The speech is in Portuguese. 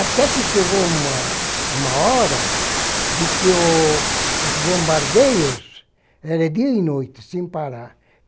Até que chegou uma uma hora em que os bombardeios, era dia e noite, sem parar.